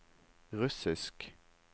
russisk